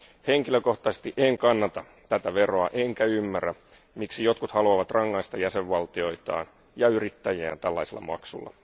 Henkilökohtaisesti en kannata tätä veroa enkä ymmärrä, miksi jotkut haluavat rangaista jäsenvaltioitaan ja yrittäjiään tällaisella maksulla.